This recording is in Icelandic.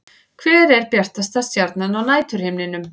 Hver er bjartasta stjarnan á næturhimninum?